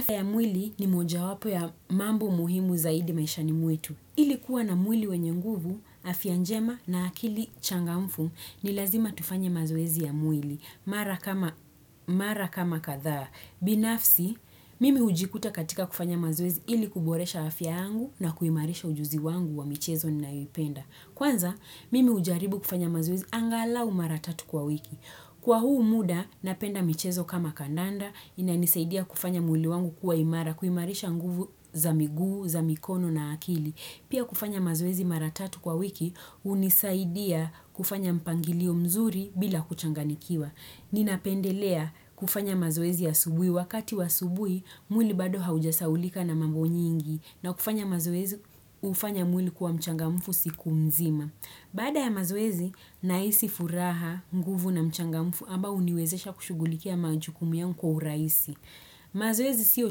Afya ya mwili ni mojawapo ya mambo muhimu zaidi maishani mwetu. Ili kuwa na mwili wenye nguvu, afya njema na akili changamfu ni lazima tufanye mazoezi ya mwili. Mara kama kadhaa. Binafsi, mimi hujikuta katika kufanya mazoezi ili kuboresha afya yangu na kuimarisha ujuzi wangu wa michezo ninayoipenda. Kwanza, mimi hujaribu kufanya mazoezi angalau mara tatu kwa wiki. Kwa huu muda, napenda michezo kama kandanda, inanisaidia kufanya mwili wangu kuwa imara, kuimarisha nguvu za miguu, za mikono na akili. Pia kufanya mazoezi mara tatu kwa wiki, hunisaidia kufanya mpangilio mzuri bila kuchanganyikiwa. Ninapendelea kufanya mazoezi ya asubuhi wakati wa asubuhi mwili bado haujasahaulika na mambo nyingi na kufanya mazoezi hufanya mwili kuwa mchangamfu siku mzima. Baada ya mazoezi nahisi furaha, nguvu na mchangamfu ambao huniwezesha kushughulikia majukumu yangu kwa urahisi. Mazoezi siyo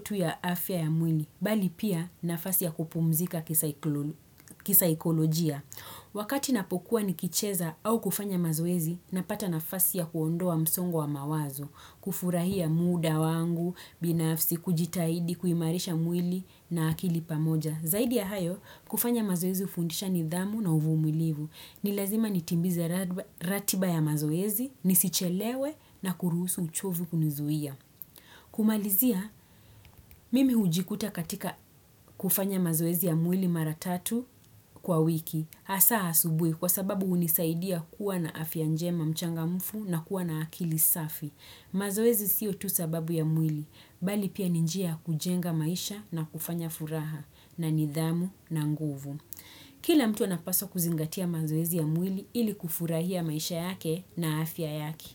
tu ya afya ya mwili bali pia nafasi ya kupumzika kisaikolojia. Wakati napokuwa nikicheza au kufanya mazoezi, napata nafasi ya kuondoa msongo wa mawazo, kufurahia muda wangu binafsi, kujitahidi kuimarisha mwili na akili pamoja. Zaidi ya hayo, kufanya mazoezi hufundisha nidhamu na uvumulivu. Ni lazima nitimize ratiba ya mazoezi, nisichelewe na kuruhusu uchovu kunizuia. Kumalizia, mimi hujikuta katika kufanya mazoezi ya mwili mara tatu kwa wiki. Hasa asubuhi kwa sababu hunisaidia kuwa na afya njema, mchangamfu na kuwa na akili safi. Mazoezi siyo tu sababu ya mwili, bali pia ni njia ya kujenga maisha na kufanya furaha na nidhamu na nguvu. Kila mtu anapaswa kuzingatia mazoezi ya mwili ili kufurahia maisha yake na afya yake.